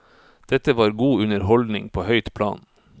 Dette var god underholdning på høyt plan.